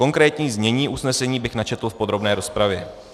Konkrétní znění usnesení bych načetl v podrobné rozpravě.